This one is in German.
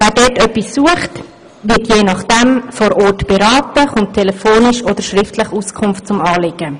Wer dort etwas sucht, wird je nach dem vor Ort beraten oder erhält telefonisch oder schriftlich Auskunft zu seinem Anliegen.